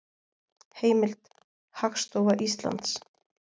Heimild: Hagstofa Íslands